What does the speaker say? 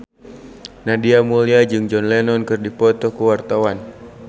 Nadia Mulya jeung John Lennon keur dipoto ku wartawan